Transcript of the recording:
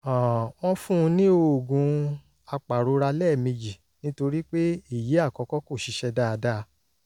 um wọ́n fún un ní oògùn apàrora lẹ́ẹ̀mejì nítorí pé èyí àkọ́kọ́ kò ṣiṣẹ́ dáadáa